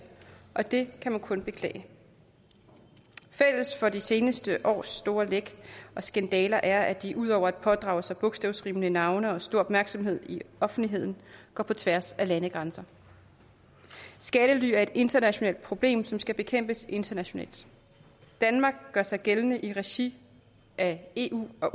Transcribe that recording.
og det kan man kun beklage fælles for de seneste års store læk og skandaler er at de ud over at pådrage sig bogstavsrimende navne og stor opmærksomhed i offentligheden går på tværs af landegrænser skattely er et internationalt problem som skal bekæmpes internationalt danmark gør sig gældende i regi af eu og